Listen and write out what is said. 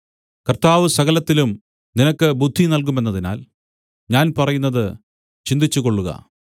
കർത്താവ് സകലത്തിലും നിനക്ക് ബുദ്ധി നല്കുമെന്നതിനാൽ ഞാൻ പറയുന്നത് ചിന്തിച്ചുകൊള്ളുക